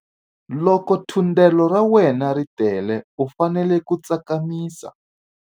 Loko thundelo ra wena ri tele u fanele ku tsakamisa.